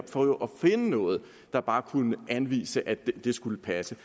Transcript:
finde noget der bare kunne anvise at det skulle passe